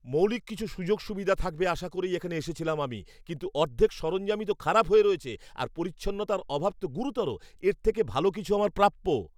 মৌলিক কিছু সুযোগ সুবিধা থাকবে আশা করেই এখানে এসেছিলাম আমি, কিন্তু অর্ধেক সরঞ্জামই তো খারাপ হয়ে রয়েছে, আর পরিচ্ছন্নতার অভাব তো গুরুতর। এর থেকে ভালো কিছু আমার প্রাপ্য।